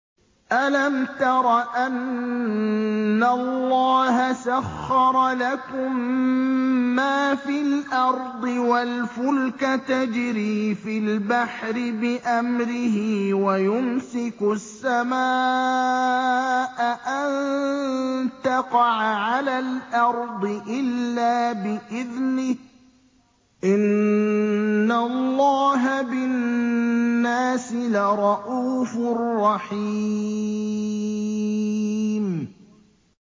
أَلَمْ تَرَ أَنَّ اللَّهَ سَخَّرَ لَكُم مَّا فِي الْأَرْضِ وَالْفُلْكَ تَجْرِي فِي الْبَحْرِ بِأَمْرِهِ وَيُمْسِكُ السَّمَاءَ أَن تَقَعَ عَلَى الْأَرْضِ إِلَّا بِإِذْنِهِ ۗ إِنَّ اللَّهَ بِالنَّاسِ لَرَءُوفٌ رَّحِيمٌ